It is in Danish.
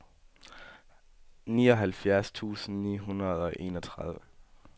nioghalvfjerds tusind ni hundrede og enogtredive